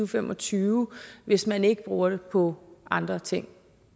fem og tyve hvis man ikke bruger det på andre ting